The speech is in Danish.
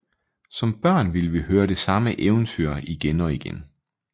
Som børn ville vi høre det samme eventyr igen og igen